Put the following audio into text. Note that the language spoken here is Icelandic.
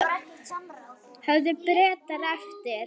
Höfðu Bretar eftir